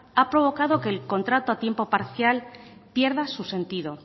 ha provocado que el contrato a tiempo parcial pierda su sentido